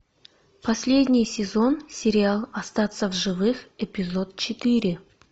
последний сезон сериал остаться в живых эпизод четыре